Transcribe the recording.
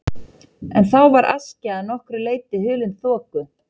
En þá var Askja að nokkru leyti hulin þoku.